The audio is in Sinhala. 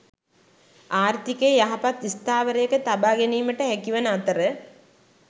ආර්ථිකය යහපත් ස්ථාවරයක තබා ගැනීමට හැකිවන අතර